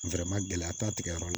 gɛlɛya t'a tigɛ yɔrɔ